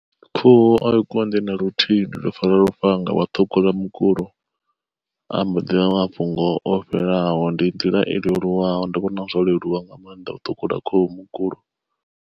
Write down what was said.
Khuhu a i konḓi na luthihi ndi to fara lufhanga wa thukhula mukulo, amba ḓivha mafhungo o fhelelaho ndi nḓila i leluwaho ndi vhona zwo leluwa nga maanḓa u ṱhukhula khuhu mukulo.